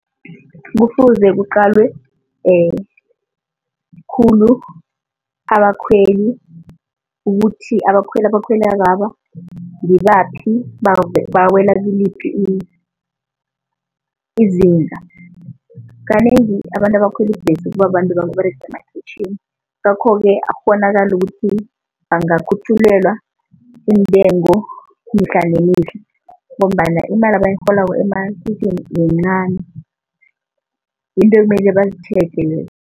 Kufuze kuqalwe khulu abakhweli ukuthi abakhweli abakhwelakaba ngibaphi, bawela kuliphi izinga. Kanengi abantu abakhwela ibhesi kubabantu ababerega emakhwitjhini ngakho-ke akukghonakali ukuthi bangakhutjhulelwa iintengo mihla nemihle ngombana imali abayirholako yincani yinto ekumele bazitjheje lezo.